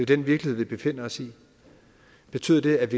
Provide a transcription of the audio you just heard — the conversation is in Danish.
den virkelighed vi befinder os i betyder det at